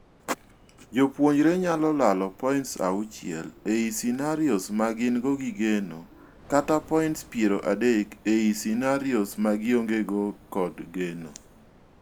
Jopuonjre nyalo lalo points auchiel ei scenarios ma gin go gi geno kata points piero adek ei scenarios ma gionge go kod geno.